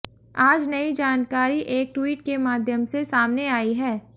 आज नई जानकारी एक ट्विट के माध्यम से सामने आई है